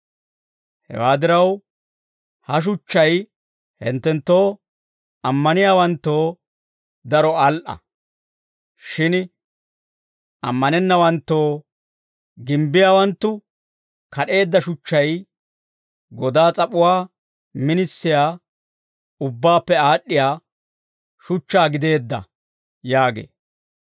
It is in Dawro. Hewaa diraw, ha shuchchay hinttenttoo ammaniyaawanttoo daro al"a; shin ammanennawanttoo, «Gimbbiyaawanttu kad'eedda shuchchay godaa s'ap'uwaa minisiyaa, ubbaappe aad'd'iyaa shuchchaa gideedda» yaagee.